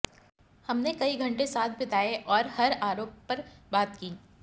हमने कई घंटे साथ बिताए और हर आरोप पर बात की